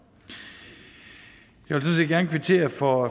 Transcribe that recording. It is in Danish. jeg vil gerne kvittere for